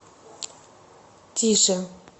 тише